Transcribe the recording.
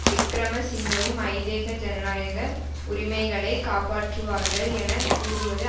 விக்கிரமசிங்கவும் ஐதேக ஜனநாயக உரிமைகளை காப்பாற்றுவார்கள் என கூறுவது